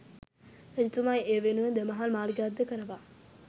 රජතුමා ඒ වෙනුවෙන් දෙමහල් මාලිගයක් ද කරවා